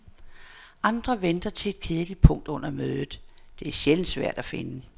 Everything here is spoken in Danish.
Andre venter til et kedeligt punkt under mødet, det er sjældent svært at finde.